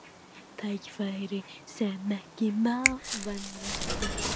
Tækifæri sem ekki má vanrækja